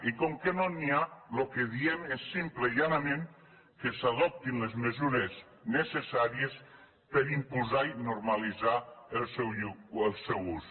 i com que no n’hi ha el que diem és simplement i llanament que s’adoptin les mesures necessàries per impulsar ne i normalitzar ne l’ús